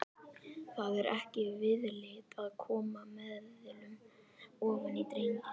Það er ekki viðlit að koma meðulum ofan í drenginn.